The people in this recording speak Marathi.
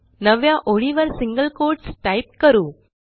नवव्या ओळीवरसिंगल कोट्स टाईप करू